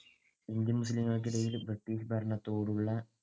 Indian മുസ്ലീംങ്ങൾക്കിടയിൽ British ഭരണത്തോടുള്ള